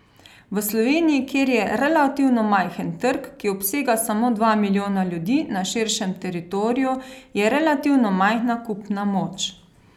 V Sloveniji, kjer je relativno majhen trg, ki obsega samo dva milijona ljudi na širšem teritoriju, je relativno majhna kupna moč.